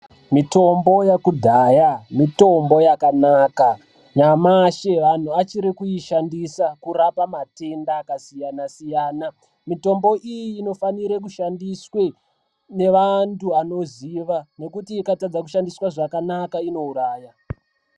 Mitombo yakudhaya mitombo yakanaka. Nyamashi vanhu vachiri kuishandisa kurapa matenda akasiyana-siyana. Mitombo iyi inofanire kushandiswe nevantu vanoziva, ngekuti ikatadza kushandiswa zvakanaka unouraya.